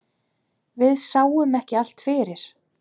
Við sáum ekki allt fyrir.